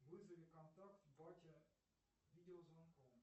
вызови контакт батя видеозвонком